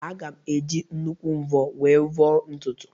Aga m eji nnukwu mvọ wee vọọ ntutu